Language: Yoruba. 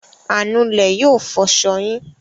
Anulẹ̀ yóò fọṣọ yín.